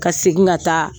Ka segin ka taa